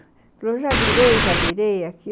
Ele falou, já virei, já virei aqui.